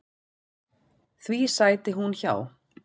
Því sæti hún hjá.